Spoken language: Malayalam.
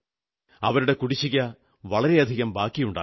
അവരുടെ കുടിശ്ശിക വളരെ ബാക്കിയുണ്ടാകും